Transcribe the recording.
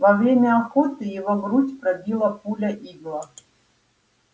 во время охоты его грудь пробила пуля-игла